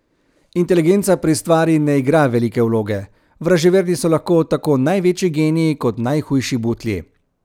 Inteligenca pri stvari ne igra velike vloge, vraževerni so lahko tako največji geniji kot najhujši butlji.